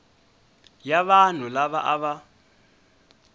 ya vanhu lava a va